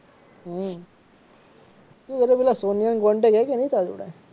હમ શું પેલી સોનિયા નો contact હે કે નહીં તાર જોડે?